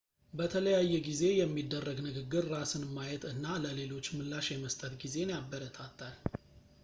በተለያየ ጊዜ የሚደረግ ንግግር ራስን ማየት እና ለሌሎች ምላሽ የመስጠት ጊዜን ያበረታታል